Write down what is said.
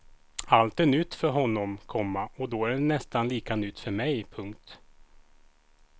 Allt är nytt för honom, komma och då är det nästan lika nytt för mig. punkt